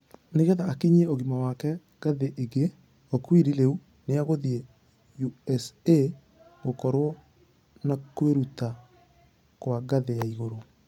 Nĩgetha akinyie ũgima wake ngathĩ ĩngĩ , Okwiri rĩũ nĩagũthie usa gũkorwo na kwĩruta kwa ngathĩ ya igũrũ